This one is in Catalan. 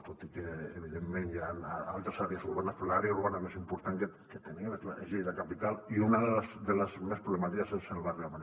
tot i que evidentment hi han altres àrees urbanes però l’àrea urbana més important és lleida capital i una de les més problemàtiques és el barri de mariola